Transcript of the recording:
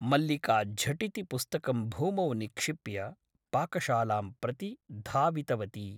मल्लिका झटिति पुस्तकं भूमौ निक्षिप्य पाकशालां प्रति धावितवती ।